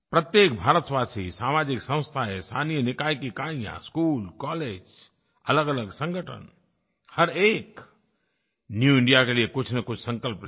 प्रत्येक भारतवासी सामाजिक संस्थायें स्थानीय निकाय की इकाइयाँ स्कूल कॉलेज अलगअलग संगठन हर एक न्यू इंडिया के लिए कुछनकुछ संकल्प लें